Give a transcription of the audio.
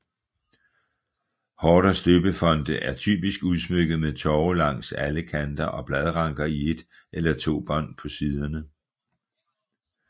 Horders døbefonte er typisk udsmykket med tove langs alle kanter og bladranker i et eller to bånd på siderne